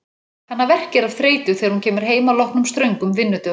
Hana verkjar af þreytu þegar hún kemur heim að loknum ströngum vinnudögum.